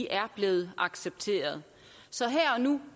er blevet accepteret så her og nu